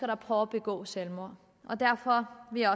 der prøver at begå selvmord derfor vil jeg